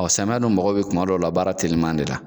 Ɔɔ samiya dun mago be kuma dɔw la baara teliman de la.